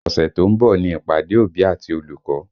Ọ̀sẹ̀ tó ń bọ̀ ni ìpàdé òbí àti olùkọ́